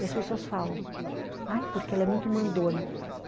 E as pessoas falam, ai, porque ela é muito mandona.